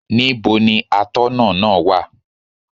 Níbo ni Atọ́nà náà wà?